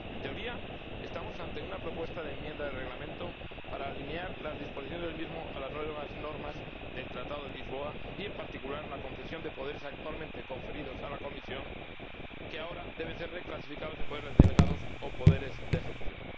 En teoría, estamos ante una propuesta de enmienda del Reglamento para alinear las disposiciones del mismo a las nuevas normas del Tratado de Lisboa, en particular en relación con la concesión de los poderes actualmente conferidos a la Comisión, que ahora deben ser reclasificados en poderes delegados o poderes de ejecución.